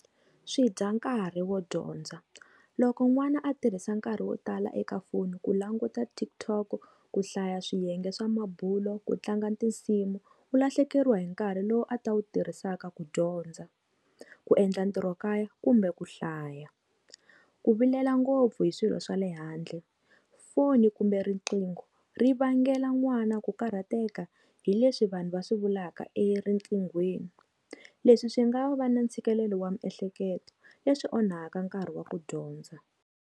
Swidya nkarhi wo dyondza loko n'wana a tirhisa nkarhi wo tala eka foni ku languta Tiktok ku hlaya swiyenge swa mabulo ku tlanga tinsimu u lahlekeriwa hi nkarhi lowu a ta wu tirhisaka ku dyondza, ku endla ntirho kaya kumbe ku hlaya ku vilela ngopfu hi swilo swa le handle foni kumbe riqingho ri vangela n'wana ku karhateka hi leswi vanhu va swivulaka erinqinghweni leswi swi nga va na ntshikelelo wa miehleketo leswi onhaka nkarhi wa ku dyondza.